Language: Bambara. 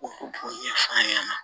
O b'o ɲɛfɔ an ɲɛna